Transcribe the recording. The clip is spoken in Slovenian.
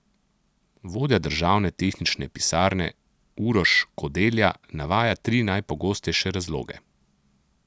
Vodja državne tehnične pisarne Uroš Kodelja navaja tri najpogostejše razloge.